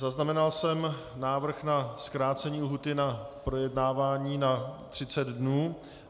Zaznamenal jsem návrh na zkrácení lhůty na projednávání na 30 dnů.